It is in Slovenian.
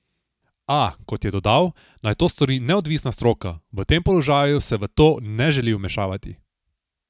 A, kot je dodal, naj to stori neodvisna stroka, v tem položaju se v to ne želi vmešavati.